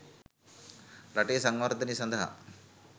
රටේ සංවර්ධනය සඳහා